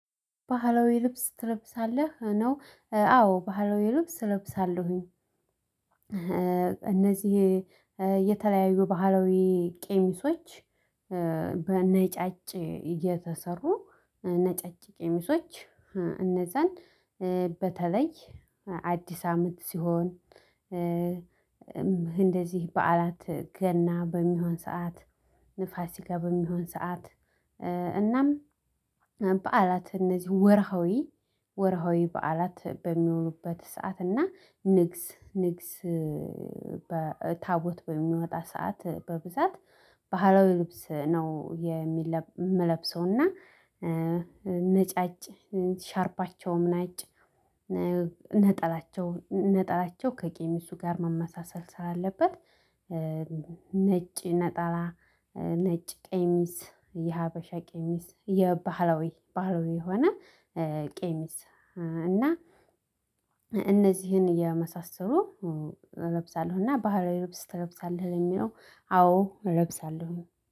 ባህላዊ ልብስ ትለብሳለህ? ነው አዎ ባህላዊ ልብስ እለብሳለሁኝ። እነዚህ የተለያዩ ባህላዊ ቄሚሶች በነጫጭ እየተሰሩ ነጫጭ ቀሚሶች እነዛን በተለይ አዲስ አመት ሲሆን እንደዚህ በዓላት ገና በሚሆን ሰዓት፣ ፋሲጋ በሚሆን ሰዓት እናም በዓላት እነዚህ ወርሃዊ ወርሃዊ በዓላት በሚሆኑበት ሰዓት እና ንግስ ንግስ ታቦት በሚወጣ ሰዓት በብዛት ባህላዊ ልብስ ነው የምለብሰውና ነጫጭ ሻርፓቸውም ነጭ ነጠላቸው ነጠላቸው ከቄሚሱ ጋር መመሳሰል ስላለበት ነጭ ነጠላ ነጭ ቀሚስ የሀበሻ ቀሚስ የባህላዊ ባህላዊ የሆነ ቄሚስ እና እነዚህን የመሳሰሉ እለብሳለሁና ባህላዊ ልብስ ትለብሳለህ ለሚለው አዎ እንለብሳለሁ።